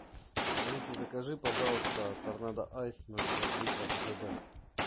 алиса закажи пожалуйста торнадо айс ноль пять литра жб